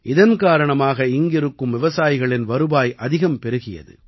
இதன் காரணமாக இங்கிருக்கும் விவசாயிகளின் வருவாய் அதிகம் பெருகியது